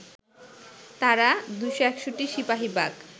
তারা ২৬১ সিপাহীবাগ